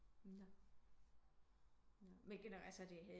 Nå nå men altså er det